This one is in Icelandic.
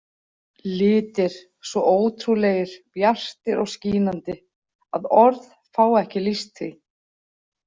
Litir, svo ótrúlegir, bjartir og skínandi að orð fá ekki lýst því.